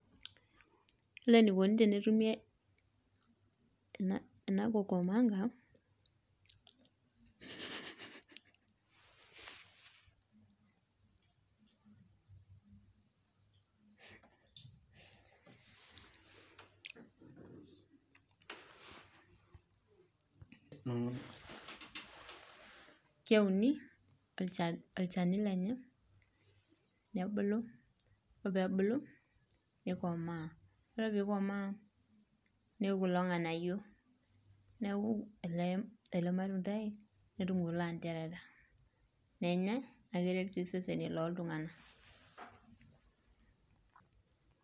Ore enaikoni tenetumi eba kukumanga.... .....um keuni olchani lenye nebulu nebulu nikomaa. Ore pee ikomaa neiu kulo nganayio neaku ele matundai netum kulo aterera nenyae naa keret sii seseni loo tungana.